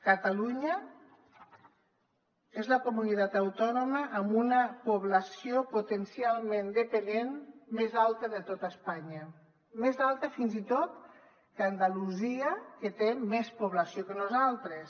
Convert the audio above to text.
catalunya és la comunitat autònoma amb una població potencialment dependent més alta de tot espanya més alta fins i tot que andalusia que té més població que nosaltres